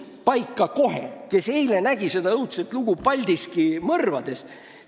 Võib-olla keegi teist nägi eile seda õudset lugu Paldiski mõrvadest.